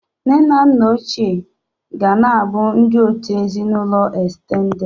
Nne na nna ochie ga na-abụ ndị òtù ezinụlọ estendedị.